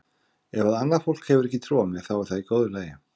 Ef að annað fólk hefur ekki trú á mér þá er það í góðu lagi.